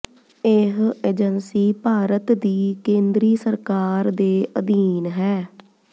ਇਹ ਏਜੰਸੀ ਭਾਰਤ ਦੀ ਕੇਂਦਰੀ ਸਰਕਾਰ ਦੇ ਅਧੀਨ ਹੈ